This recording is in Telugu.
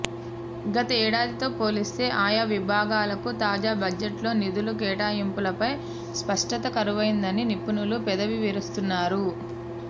గతేడాదితో పోలిస్తే ఆయా విభాగాలకు తాజా బడ్జెట్లో నిధుల కేటాయింపులపై స్పష్టత కరువైందని నిపుణులు పెదవి విరుస్తున్నారు